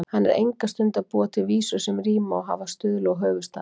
Hann er enga stund að búa til vísur sem ríma og hafa stuðla og höfuðstafi.